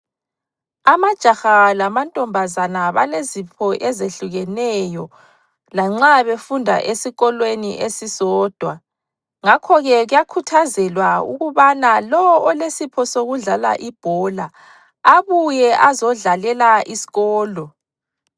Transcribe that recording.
Amajaha lamantombazana balezipho ezehlukeneyo lanxa befunda esikolweni esisodwa ,ngakho ke kuyakhuthazelwa ukubana lo olesipho sokudlala ibhola abuye azodlalela isikolo.